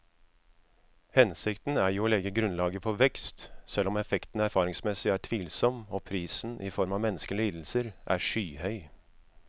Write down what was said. Hensikten er jo å legge grunnlaget for vekst, selv om effekten erfaringsmessig er tvilsom og prisen i form av menneskelige lidelser er skyhøy.